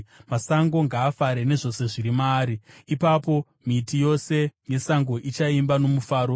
masango ngaafare, nezvose zviri maari. Ipapo miti yose yesango ichaimba nomufaro;